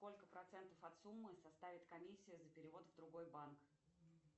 сколько процентов от суммы составит комиссия за перевод в другой банк